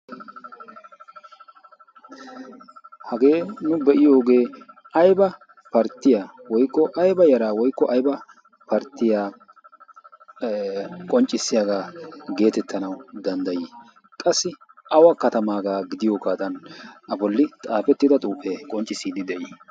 Hagee nu biyoge ayba partiya woykko ayba yaraa woykko ayba partiya ee qonccissiyaga geetettanawu danddayi? Qassi awa kattamaga gidiyoga a bolli xaafetida xuufe qonccisi?